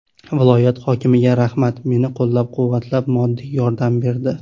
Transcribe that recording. Viloyat hokimiga rahmat, meni qo‘llab-quvvatlab, moddiy yordam berdi.